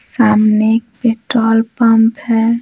सामने एक petrol pump है।